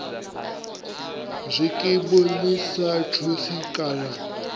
zwikimu ḽi sa thusi kana